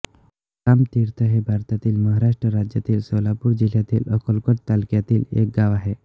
रामतीर्थ हे भारतातील महाराष्ट्र राज्यातील सोलापूर जिल्ह्यातील अक्कलकोट तालुक्यातील एक गाव आहे